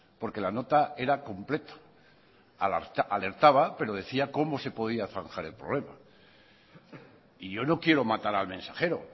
porque la nota era completa alertaba pero decía cómo se podía zanjar el problema y yo no quiero matar al mensajero